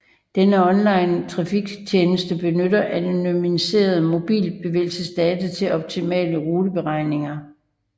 Denne onlinetrafiktjeneste benytter anonymiserede mobilbevægelsesdata til optimale ruteberegninger